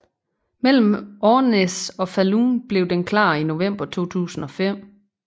Mellem Ornäs og Falun blev den klar i november 2005